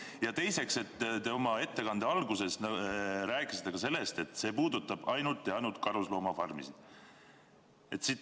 Ja teiseks, oma ettekande alguses te rääkisite ka sellest, et see puudutab ainult karusloomafarmisid.